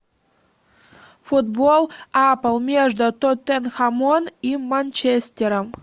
футбол апл между тоттенхэмом и манчестером